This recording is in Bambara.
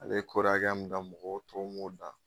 Ale ye kɔri hakɛya mun dan mɔgɔ tɔw m'o dan.